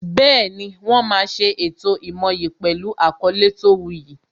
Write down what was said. Bẹẹni, wọ́n máa ṣe ètò ìmoyì pẹlu àkọlé tó wu yì